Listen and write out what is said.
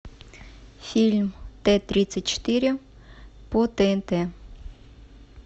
фильм т тридцать четыре по тнт